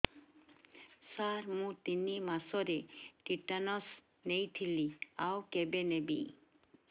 ସାର ମୁ ତିନି ମାସରେ ଟିଟାନସ ନେଇଥିଲି ଆଉ କେବେ ନେବି